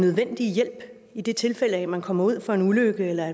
nødvendige hjælp i det tilfælde man kommer ud for en ulykke eller